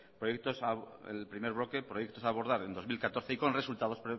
el primer bloque proyectos a abordar en dos mil catorce y con resultados